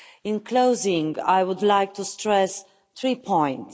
In closing, I would like to stress three points.